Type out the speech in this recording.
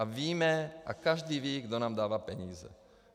A víme a každý ví, kdo nám dává peníze.